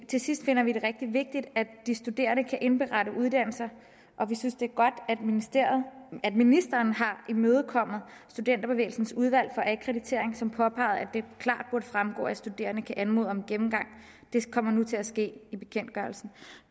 til sidst finder vi det rigtig vigtigt at de studerende kan indberette uddannelser og vi synes det er godt at ministeren har imødekommet studenterbevægelsens udvalg akkreditering som påpegede at fremgå at studerende kan anmode om en gennemgang det kommer nu til at ske i bekendtgørelsen